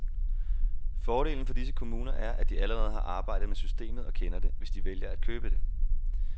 Fordelen for disse kommuner er, at de allerede har arbejdet med systemet og kender det, hvis de vælger at købe det.